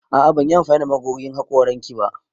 A'a ban yi amfani da magogin hakoran ki ba.